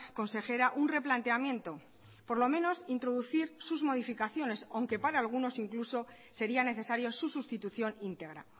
consejera un replanteamiento por lo menos introducir sus modificaciones aunque para algunos incluso sería necesario su sustitución integra